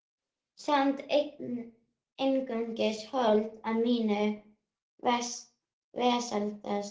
Samt einungis hold af mínu vesala holdi.